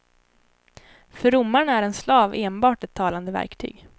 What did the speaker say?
För romarna är en slav enbart ett talande verktyg.